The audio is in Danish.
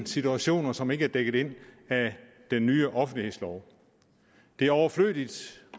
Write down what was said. situationer som ikke er dækket ind af den nye offentlighedslov det er overflødigt